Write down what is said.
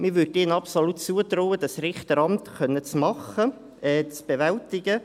Man würde ihnen absolut zutrauen, das Richteramt bewältigen zu können.